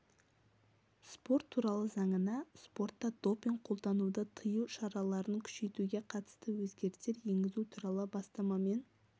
спорт туралы заңына спортта допинг қолдануды тыю шараларын күшейтуге қатысты өзгерістер енгізу туралы бастамамен